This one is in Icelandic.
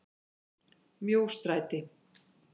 Mjóstræti